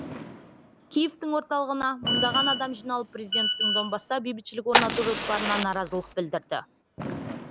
киевтің орталығына мыңдаған адам жиналып президенттің донбасста бейбітшілік орнату жоспарына наразылық білдірді